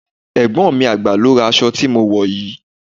Ẹ̀gbọ́n mi àgbà ló ra aṣọ tí mo wò yìí.